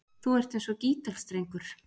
Þú ert eins og gítarstrengur.